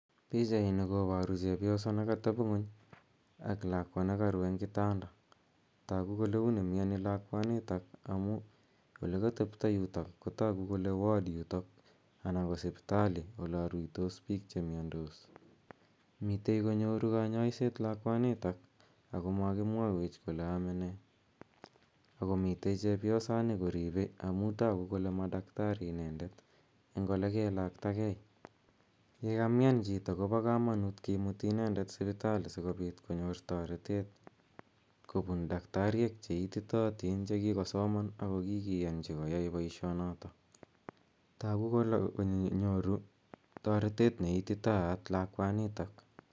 Pichaini koparu chepyoso ne katepi ng'uny ak lakwa ne karu ebg' kitanda. Tagu kole uni miani lakwanitok amu, ole katepto yutok, kotagu kole ward yutok anan ko sipitali ola ruitos piik che miandos. Mitei konyoru kanyaiset lakwanitak ako makimwaiwech kole ame ne , ako mitei chepyosanj koripei amu tagu kole ma daktari inendet eng' ole ke lakta gei. Ye kamiam chito ko pa kamanut kimuti inende sipitali si kopiit konyor taretet kopun daktariek che ititaatin , che kikosoman ako kikiyanchi koyai poishonotok.